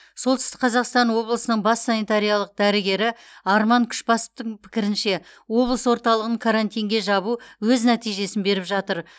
солтүстік қазақстан облысының бас санитариялық дәрігері арман күшбасовтың пікірінше облыс орталығын карантинге жабу өз нәтижесін беріп жатыр